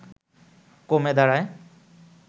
কমে দাঁড়ায়